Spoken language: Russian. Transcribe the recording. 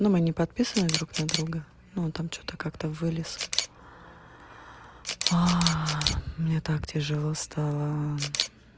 но мы не подписаны друг на друга но там что-то как-то вылез а мне так тяжело стало